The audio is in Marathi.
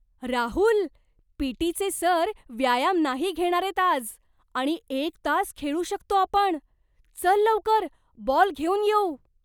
राहुल! पी.टी.चे सर व्यायाम नाही घेणारेत आज आणि एक तास खेळू शकतो आपण! चल लवकर, बॉल घेऊन येऊ!